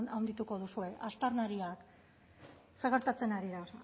handituko duzue aztarnariak zer gertatzen ari da